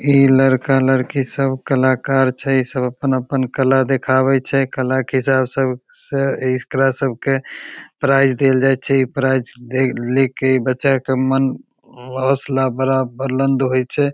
इ लड़का-लड़की सब कलाकार छैइ सब अपन-अपन कला दिखावे छैइ कला के चाव सब से एकरा सब के प्राइज दियल जाइ छै प्राइज दे ले के बच्चा के मन हौसला बड़ा बुलंद होइ छै।